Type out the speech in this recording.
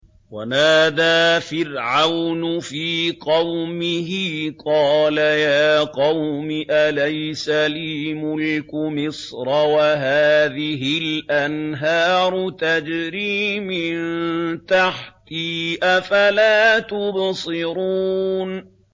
وَنَادَىٰ فِرْعَوْنُ فِي قَوْمِهِ قَالَ يَا قَوْمِ أَلَيْسَ لِي مُلْكُ مِصْرَ وَهَٰذِهِ الْأَنْهَارُ تَجْرِي مِن تَحْتِي ۖ أَفَلَا تُبْصِرُونَ